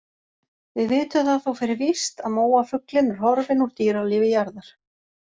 Við vitum það þó fyrir víst að móafuglinn er horfinn úr dýralífi jarðar.